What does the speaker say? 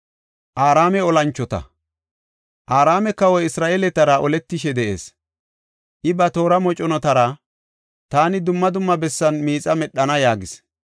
Araame kawoy Isra7eeletara oletishe de7ees. I ba toora moconatara, “Taani dumma dumma bessan miixa medhana” yaagis.